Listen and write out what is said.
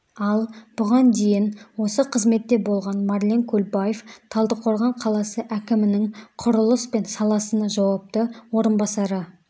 ал бұған дейін осы қызметте болған марлен көлбаев талдықорған қаласы әкімінің құрылыс пен саласына жауапты орынбасары